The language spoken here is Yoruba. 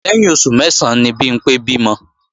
Lẹ́yìn oṣù mẹ́sán ni Bimpé bímọ